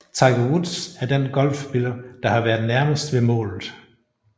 Tiger Woods er den golfspiller der har været nærmest ved målet